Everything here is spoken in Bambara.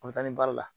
A bɛ taa ni baara la